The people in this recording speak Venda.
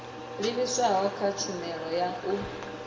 livhiswaho kha tshumelo ya u